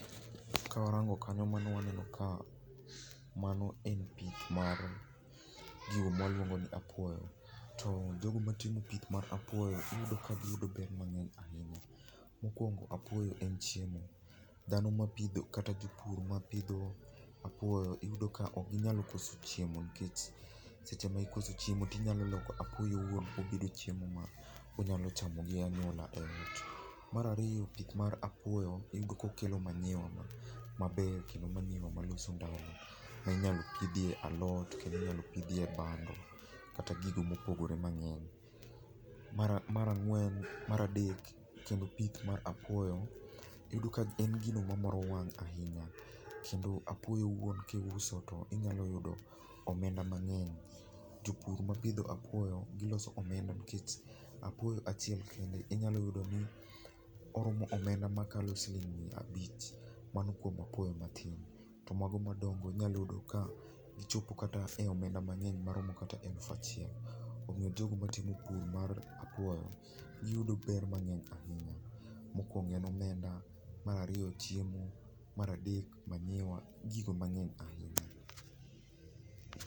Kawarango kanyo waneno ka mano en pith mar gigo ma waluongo ni apuoyo. To jogo matimo pith mar apuoyo iyudo ka giyudo ber mang'eny ahinya. Mokuongo apuoyo en chiemo dhano mapidho apuoyo kata jopur mapidho apuoyo iyudo ka ok inyal koso chiemo. Seche ma ikoso chiemo to inyalo loko apuoyo owuon chiemo ma inyalo chamo gi anyuola. Mar ariyo pith mar apuoyo iyudo ka okelo manyiwa maber kendo manyowa maloso ndalo kendo inyalo pidhie alot kendo inyalo pidhie bando kata gigo mopogore mang'eny. Mar ang'wen mara adek kendo pith mar apuoyo iyudo ka en gino mamoro wang' ahinya. Kendo apuoyo owuon kiuso to inyalo yudo omenda mang'eny, jopur ma opidho apuoyo giloso omenda nikech apuoyo achiel kende inyalo yudo ni oromo omenda makalo siling' miya abich to mano kuom apuoyo matin. To mago madongo inyalo yudo ka ochopo kata e omenda mang'eny maromo kata siling' elufu achiel omiyo jogo matimo pur mar apuoyo yudo ber mang'eny ahinya. Mokuongo en omenda, mar ariyo chiemo, mar adek manyiwa gi gigo mang'eny ahinya.